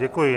Děkuji.